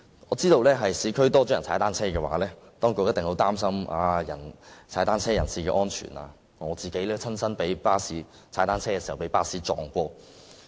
我知道若在市區踏單車的市民增多，當局一定會擔心踏單車人士的安全，我自己亦曾在踏單車時被巴士撞倒。